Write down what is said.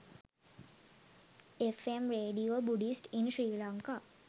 fm radio buddhist in sri lanka